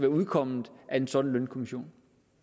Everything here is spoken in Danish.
udkommet af en sådan lønkommission